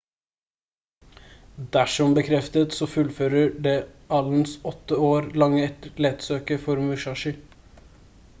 dersom bekreftet så fullfører det allens åtte år lange letesøk for musashi